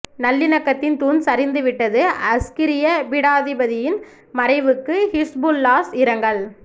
நல்லிணக்கத்தின் தூண் சரிந்து விட்டது அஸ்கிரிய பீடாதிபதியின் மறைவுக்கு ஹிஸ்புல்லாஹ் இரங்கல்